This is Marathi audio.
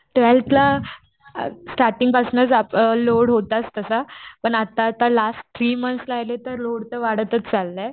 स्टार्टींग आप पासनच लोड होताच तसा पण आता आता लास्ट थ्री मंथ राहिले तर लोड वाढतच चाललंय.